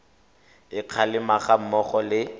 a kgalemo ga mmogo le